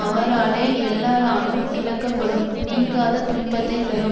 அவராலே எல்லாரானும் இழக்கப்படும் நீங்காத துன்பத்தை தரும்